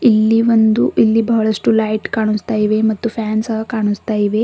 ಇಲ್ಲಿ ಒಂದು ಇಲ್ಲಿ ಬಹಳಷ್ಟು ಲೈಟ್ ಕಾಣಿಸ್ತಾ ಇದೆ ಮತ್ತು ಫ್ಯಾನ್ ಸಹ ಕಾಣಿಸ್ತಾ ಇದೆ.